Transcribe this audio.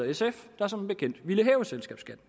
sf der som bekendt ville hæve selskabsskatten